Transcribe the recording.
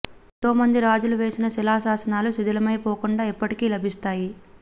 ఎంతో మంది రాజులు వేసిన శిలాశాసనాలు శిథిలమై పోకుండా ఇప్పటికీ లభిస్తాయి